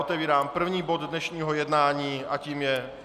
Otevírám první bod dnešního jednání a tím je